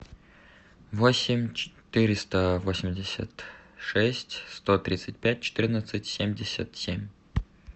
восемь четыреста восемьдесят шесть сто тридцать пять четырнадцать семьдесят семь